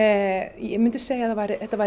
ég myndi segja að þetta væri